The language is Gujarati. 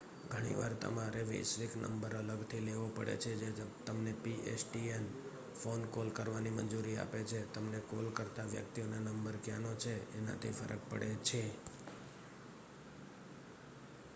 ઘણીવાર તમારે વૈશ્વિક નંબર અલગ થી લેવો પડે છે જે તમને pstn ફોન કોલ કરવાની મંજૂરી આપે છે તમને કોલ કરતાં વ્યક્તિઓને નંબર ક્યાંનો છે એનાથી ફરક પડે છે